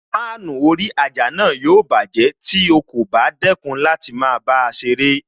Fáànù orí àjà náà yóò bájẹ̀ tí o kò bá dẹ́kun láti máa bá a ṣeré